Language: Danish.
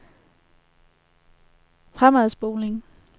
fremadspoling